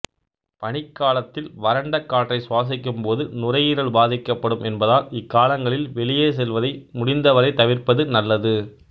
பனிக்காலத்தில் வறண்ட காற்றை சுவாசிக்கும்போது நுரையீரல் பாதிக்கப்படும் என்பதால் இக்காலங்களில் வெளியே செல்வதை முடிந்த வரை தவிர்ப்பது நல்லது